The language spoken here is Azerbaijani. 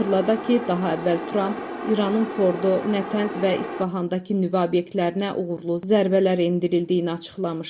Xatırladaq ki, daha əvvəl Tramp İranın Fordo, Nətənz və İsfahandakı nüvə obyektlərinə uğurlu zərbələr endirildiyini açıqlamışdı.